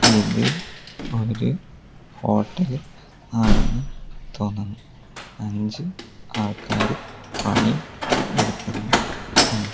ഇത് ഒരു ഹോട്ടൽ ആണെന്ന് തോന്നുന്നു അഞ്ച് ആൾക്കാര് പണി എടുക്കുന്നു ഇണ്ട്.